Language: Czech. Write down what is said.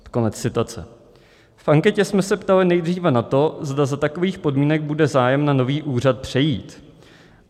V anketě jsme se ptali nejdříve na to, zda za takových podmínek bude zájem na nový úřad přejít.